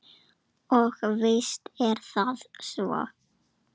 Og víst er það svo.